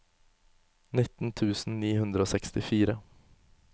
nitten tusen ni hundre og sekstifire